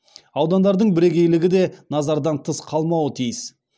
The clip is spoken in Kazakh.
аудандардың бірегейлігі де назардан тыс қалмауы тиіс